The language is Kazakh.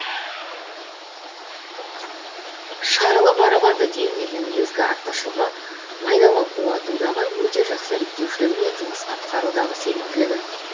шарлы барабанды диірменнің негізгі артықшылығы майдалап уатудағы өте жақсы реттеушілігі мен жұмыс атқарудағы сенімділігі